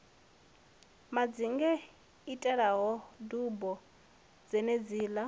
madzinge i tselaho dubo dzenedziḽa